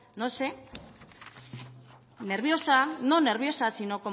no sé nerviosa no nerviosa sino